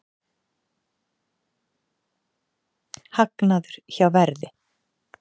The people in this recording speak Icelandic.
Hagnaður hjá Verði